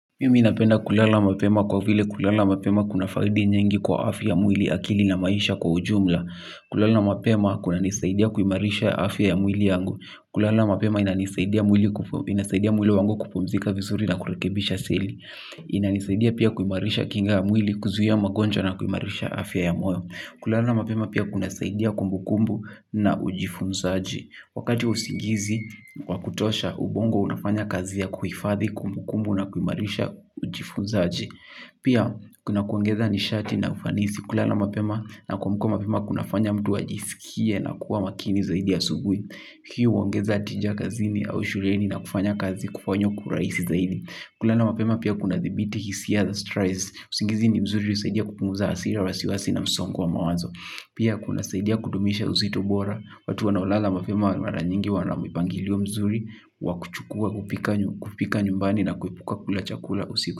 Mimi ninapenda kulala mapema kwa vile kulala mapema kuna faidi nyingi kwa afya mwili akili na maisha kwa ujumla. Kulala mapema kuna nisaidia kuimarisha afya ya mwili yangu. Kulala mapema inanisaidia mwili wangu kupumzika vizuri na kurekebisha seli. Inanisaidia pia kuimarisha kinga ya mwili kuzuia magonjwa na kuimarisha afya ya mwili. Kulala mapema pia kuna saidia kumbu kumbu na ujifunzaji. Wakati wa usingizi, wa kutosha, ubongo unafanya kazi ya kuhifadhi, kumbu kumbu na kuimarisha ujifunzaji. Pia, kuna kuongeza nishati na ufanisi kulala mapema na kuamka mapema kunafanya mtu ajisikie na kuwa makini zaidi asubui. Pia huongeza tija kazini au shuleni na kufanya kazi kufanywa kwa urahisi zaidi. Kulala mapema pia kuna dhibiti, hisia za strides, usingizi ni mzuri husaidia kupunguza hasira, wasiwasi na msongo wa mawazo. Pia kuna saidia kudumisha uzito bora. Watu wanaolala mapema mara nyingi wana mipangilio mzuri. Wakuchukua kupika nyumbani na kuepuka kulachakula usiku.